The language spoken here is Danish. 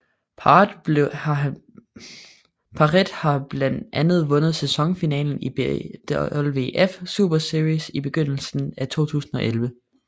Parret har blandt andet vundet sæsonfinalen i BWF Super Series i begyndelsen af 2011